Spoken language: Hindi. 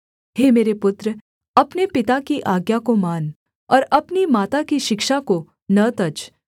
हे मेरे पुत्र अपने पिता की आज्ञा को मान और अपनी माता की शिक्षा को न तज